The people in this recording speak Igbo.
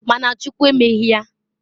Ma na Chukwu emeghi ya.